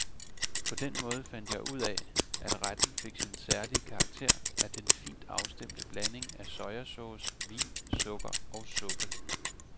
På den måde fandt jeg ud af, at retten fik sin særlige karakter af den fint afstemte blanding af sojasauce, vin, sukker og suppe.